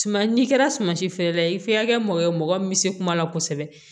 Suma n'i kɛra sumasi feerela ye f'i ka kɛ mɔgɔ ye mɔgɔ min bɛ se kuma la kosɛbɛ